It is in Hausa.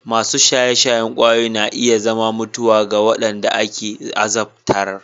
Masu shaye-shayen ƙwayoyi na iya sa mutuwa ga wanda aka azabtar.